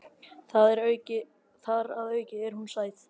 Þar að auki er hún sæt.